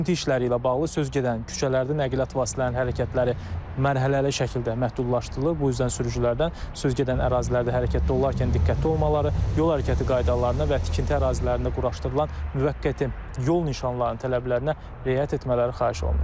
Tikinti işləri ilə bağlı söz gedən küçələrdə nəqliyyat vasitələrinin hərəkətləri mərhələli şəkildə məhdudlaşdırılır, bu üzdən sürücülərdən söz gedən ərazilərdə hərəkətdə olarkən diqqətli olmaları, yol hərəkəti qaydalarına və tikinti ərazilərində quraşdırılan müvəqqəti yol nişanlarının tələblərinə riayət etmələri xahiş olunur.